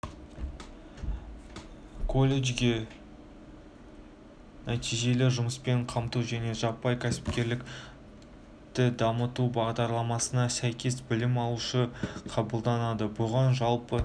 колледжге нәтижелі жұмыспен қамту және жаппай кәсіпкерлікті дамыту бағдарламасына сәйкес білім алушы қабылданады бұған жалпы